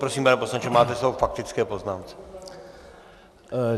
Prosím, pane poslanče, máte slovo k faktické poznámce.